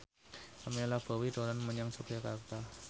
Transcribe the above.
Pamela Bowie dolan menyang Yogyakarta